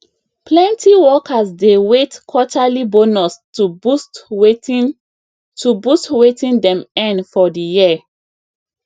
plenty workers dey wait quarterly bonus to boost wetin to boost wetin dem earn for the year